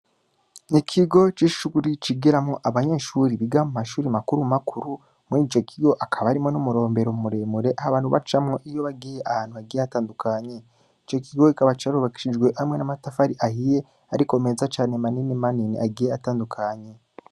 N'ikigo c'ishuri cigiramwo abanyeshuri biga mu mashure makuru makuru, muri ico kigo hakaba harimwo n'umurombero muremure abantu bacamwo iyo bagiye ahantu hagiye hatandukanye, ico kigo kikaba carubakishijwe hamwe n'amatafari ahiye ariko meza cane manini manini agiye atandukanye.